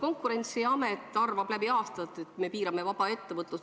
Konkurentsiamet on aastaid arvanud, et me piirame vaba ettevõtlust.